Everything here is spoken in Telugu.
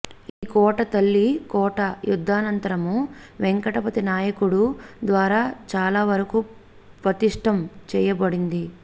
ఈ కోట తళ్లి కోట యుద్ధానంతరము వెంకటపతి నాయకుడు ద్వారా చాల వరకు పతిష్టం చేయ బడింది